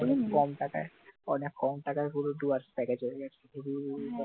কম টাকায় অনেক কম টাকায় পুরো দু হাজার টাকা চলে গেছে পুরো